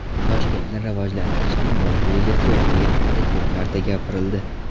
Toshkentni rivojlantirishning bosh rejasi yo‘qligi haqida ko‘p marta gapirildi.